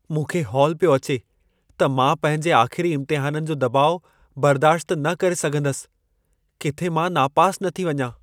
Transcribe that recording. मूंखे हौल पियो अचे त मां पंहिंजे आख़िरी इम्तिहाननि जो दॿाउ बरदाश्त न करे सघंदसि। किथे मां नापास न थी वञा।